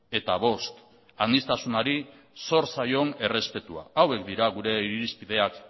eta bost sniztasunari zor zaion errespetua hauek dira gure irizpideak